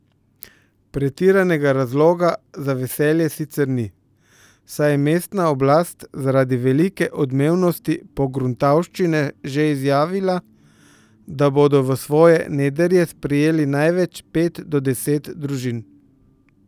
Pretiranega razloga za veselje sicer ni, saj je mestna oblast zaradi velike odmevnosti pogruntavščine že izjavila, da bodo v svoje nedrje sprejeli največ pet do deset družin.